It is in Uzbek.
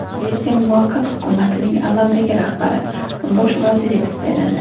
Shvetsiya muvaqqat hukumatining amaldagi rahbari bosh vazir etib saylandi.